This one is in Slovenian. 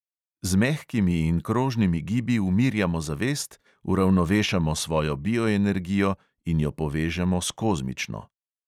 Z mehkimi in krožnimi gibi umirjamo zavest, uravnovešamo svojo bioenergijo in jo povežemo s kozmično.